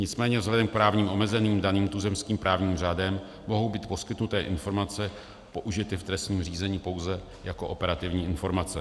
Nicméně vzhledem k právním omezením daným tuzemským právním řádem mohou být poskytnuté informace použity v trestním řízení pouze jako operativní informace.